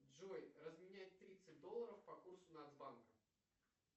джой разменять тридцать долларов по курсу нацбанка